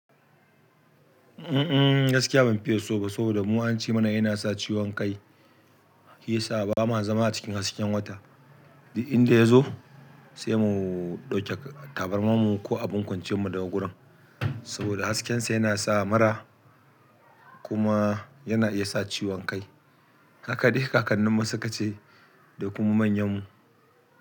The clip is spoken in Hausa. Mm mm gaskiya ban fiye so ba saboda mu an ce mana yana sa ciwon kai shi ya sa ba ma zama a cikin hasken wata. Inda ya zo sai mu ɗauke tabarmarmu ko abin kwanciyanmu daga wurin saboda haskensa yana sa mura kuma yana iya sa ciwon kai. Haka dai kakanninmu sukace da kuma manyanmu.